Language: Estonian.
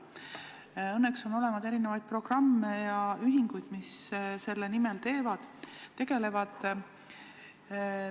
Õnneks on olemas erinevaid programme ja ühinguid, mis selle nimel tegutsevad.